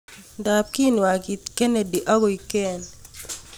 ndap kenwagin Kennedy ak koek ken